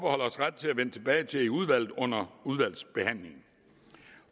vende tilbage til i udvalget under udvalgsbehandlingen